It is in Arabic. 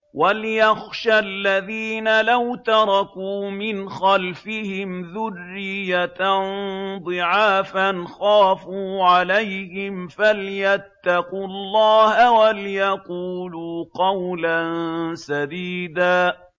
وَلْيَخْشَ الَّذِينَ لَوْ تَرَكُوا مِنْ خَلْفِهِمْ ذُرِّيَّةً ضِعَافًا خَافُوا عَلَيْهِمْ فَلْيَتَّقُوا اللَّهَ وَلْيَقُولُوا قَوْلًا سَدِيدًا